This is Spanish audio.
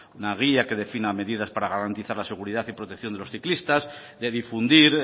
una guía que defina medidas para garantizar la seguridad y protección de los ciclistas de difundir